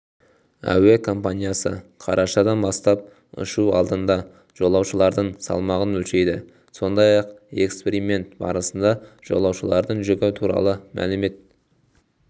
әуе компаниясы қарашадан бастап ұшу алдында жолаушылардың салмағын өлшейді сондай-ақ эксперимент барысында жолаушылардың жүгі туралы мәлімет